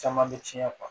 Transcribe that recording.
Caman bɛ tiɲɛ